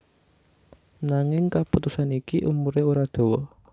Nanging kaputusan iki umuré ora dawa